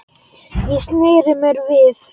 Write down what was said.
Ég sneri mér við.